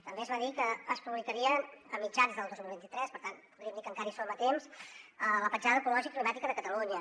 també es va dir que es publicaria a mitjans del dos mil vint tres per tant podríem dir que encara hi som a temps la petjada ecològica i climàtica de catalunya